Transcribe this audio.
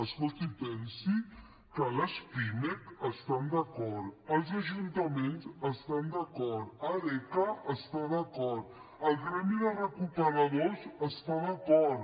escolti pensi que la pimec hi està d’acord els ajuntaments hi estan d’acord arc hi està d’acord el gremi de recuperadors hi està d’acord